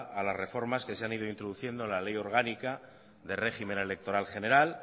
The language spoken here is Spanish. a las reformas que se han ido introduciendo en la ley orgánica de régimen electoral general